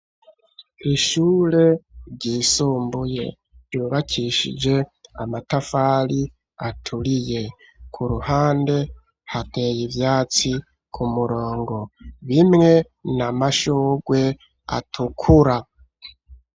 Ishure ryisumbuye yubakishije amatafari aturiye ku ruhande hateye ivyatsi ku murongo bimwe n’amashurwe atukura.